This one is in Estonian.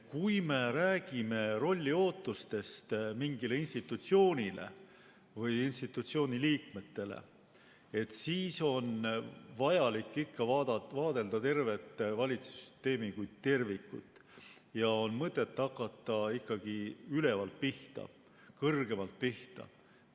Kui me räägime rolliootustest mingile institutsioonile või institutsiooni liikmetele, siis on vaja ikka vaadelda tervet valitsussüsteemi, seda kui tervikut, ja on mõtet hakata ikkagi ülevalt, kõrgemalt pihta.